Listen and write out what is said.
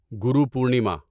گرو Purnima